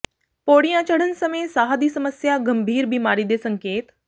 ਪੌੜੀਆਂ ਚੜ੍ਹਨ ਸਮੇਂ ਸਾਹ ਦੀ ਸਮੱਸਿਆ ਗੰਭੀਰ ਬੀਮਾਰੀ ਦੇ ਸੰਕੇਤ